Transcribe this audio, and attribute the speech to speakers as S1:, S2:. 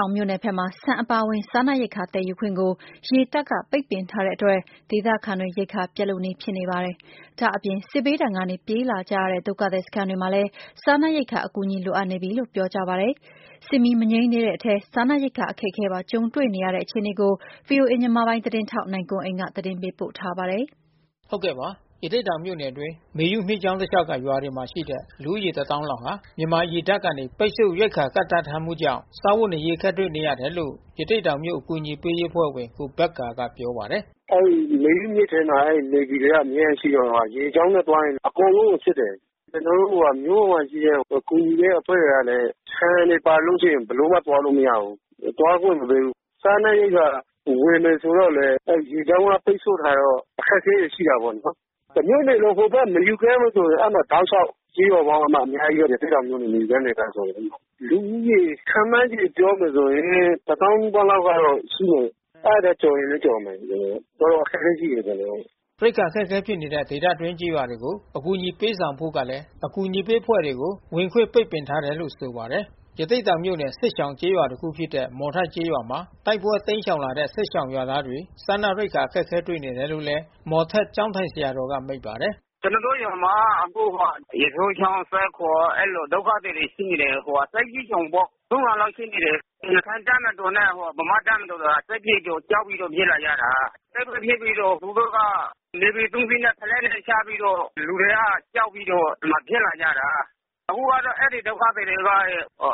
S1: ောင်မြို့နယ်ဘက်မှာ ဆန်အပါအဝင် စားနပ်ရိက္ခာသယ်ယူခွင့်ကို ရေတပ်က ပိတ်ပင်ထားတဲ့အတွက် ဒေသခံတွေ ရိက္ခာ ပြတ်လုနီးဖြစ်နေပါပြီ။ ဒါ့အပြင် စစ်ဘေးဒဏ်ကနေ ပြေးလာကြရတဲ့ ဒုက္ခသည်စခန်းတွေမှာလည်း စားနပ်ရိက္ခာအကူအညီ လိုအပ် နေပြီလို့ ပြောကြပါတယ်။ စစ်မီးမငြိမ်းသေးတဲ့အထဲ စားနပ်ရိက္ခာအခက်အခဲပါ ကြုံတွေ့နေကြရတဲ့ အခြေအနေကို ဗွီအိုအေ မြန်မာပိုင်းသတင်းထောက် နိုင်ကွန်းအိန်က သတင်းပေးပို့ထားပါတယ်။ ရသေ့တောင်မြို့နယ်အတွင်း မေယုမြစ်ကြောင်းတလျှောက်ကရွာတွေမှာရှိတဲ့ လူဦးရေ တသောင်းလောက်ဟာ မြန်မာ ရေတပ်က ပိတ်ဆို့ရိက္ခာကန့်သတ်ထားမှုကြောင့် စားဝတ်နေရေးအခက်တွေ့နေတယ်လို့ ရသေ့တောင်မြို့အကူညီ ပေးအဖွဲ့ဝင် ကိုဘက္ကာကပြောပါတယ်
S2: ။ “အဲဒီမေယုမြစ်ထဲမှာ Navy တွေကအမြဲတမ်းရှိတော့လေ။ ရေကြောင်းနဲ့သွားရင် အကုန်လုံးကို စစ်တယ်။ ကျွန်တော်တို့ မြို့ပေါ်မှာ ကူညီတဲ့အဖွဲ့တွေကလဲ ဆန်တွေပါလို့ ရှိရင်ဘယ်လိုမှ သွားလို့မရဘူး။ သွားခွင့်မပေးဘူး။ စားနပ်ရိက္ခာ ဝယ် မယ်ဆိုတော့လဲ ရေကြောင်းက ပိတ်ဆို့ထားတော့ အခက်ခဲတွေရှိတာပေါ့နော်။ တမြို့နယ်လုံး ဟိုဖက်မေယုကမ်းမှာဆို တောက်လျှောက် ကျေးရွာပေါင်းကအများကြီးပဲ။ ရသေ့တောင်မြို့နယ် မေယုကမ်းဒေသ အကုန်လုံးမှာ။ လူဦးရေခန့်မှန်း ခြေ ပြောမယ်ဆိုရင် တသောင်းနီးပါးလောက်ကတော့ရှိမယ်။ အဲဒီထက်ကျော်ရင်လဲကျော်မယ်။ တော်တော်အခက်ခဲရှိ တယ် အကုန်လုံး။
S1: ” ရိက္ခာအခက်ခဲဖြစ်နေတဲ့ ဒေသတွင်းကျေးရွာတွေကို အကူညီပေးဆောင်ဖို့ကလဲ အကူညီပေးအဖွဲ့တွေကို ဝင်ခွင့်ပိတ် ပင်ထားတယ်လို့ဆိုပါတယ်။ ရသေ့တောင်မြို့နယ် စစ်ရှောင်ကျေးရွာတခုဖြစ်တဲ့ မော်ထက်ကျေးရွာမှာ တိုက်ပွဲတိမ်းရှောင်လာတဲ့ စစ်ရှောင်ရွာသား တွေ စားနပ်ရိက္ခာအခက်တွေ့နေတယ်လို့ မော်ထက်ကျောင်းထိုင်ဆရာတော်က မိန့်ပါတယ်။
S3: “ကျွန်တော်တို့ရွာမှာအခုက ရေစိုးချောင်း ၊ သဲခုံအဲဒီလို ဒုက္ခသည်တွေရှိနေတယ်။ စစ်ဘေးရှောင်ပေါ့။ လောက် ရှိနေတယ်။ ရခိုင့်တပ်မတော်နဲ့ဗမာ့တပ်မတော် စစ်ဖြစ်တော့ ကြောက်ပြီးတော့ ပြေးလာကြတာ။ တိုက်ပွဲဖြစ်ပြီးတော့ သူတို့က Navy စီးနဲ့ ဖလက်နဲ့ချပြီးတော့ လူတွေကကြောက်ပြီးတော့ ဒီမှာပြေးလာကြတာ။ အခုကတော့ အဲဒီဒုက္ခ သည်တွေက